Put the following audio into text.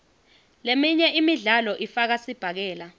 leminye imidlalo ifaka sibhakela